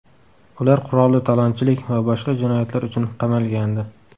Ular qurolli talonchilik va boshqa jinoyatlar uchun qamalgandi.